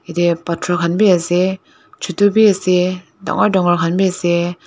yati patorkan be ase chutu beh ase tangore tangore kanbe ase.